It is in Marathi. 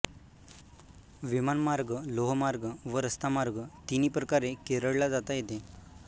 विमानमार्ग लोहमार्ग व रस्तामार्ग तिन्ही प्रकारे केरळ ला जाता येते